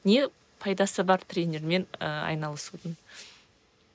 не пайдасы бар тренермен ііі айналысудың